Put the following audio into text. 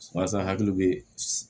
Walasa hakili bee